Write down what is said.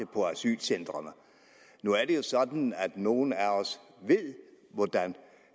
nu er det jo sådan at nogle af os ved hvordan